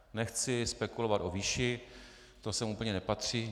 Nechci spekulovat o výši, to sem úplně nepatří.